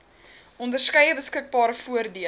onderskeie beskikbare voordele